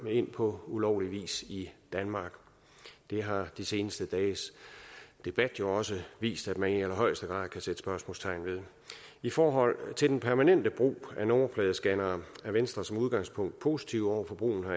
ind på ulovlig vis i danmark det har de seneste dages debat jo også vist at man i allerhøjeste grad kan sætte spørgsmålstegn ved i forhold til den permanente brug af nummerpladescannere er venstre som udgangspunkt positive over for brugen